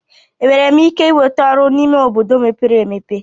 Enwere m ike ịnweta ọrụ n'ime obodo mepere emepe?